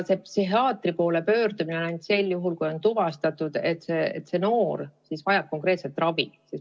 Psühhiaatri poole pöördumine on vajalik ainult sel juhul, kui on tuvastatud, et noor vajab konkreetselt ravi.